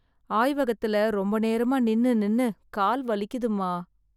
ஆய்வகத்துல ரொம்ப நேரமா நின்னு நின்னு கால் வலிக்குதுமா...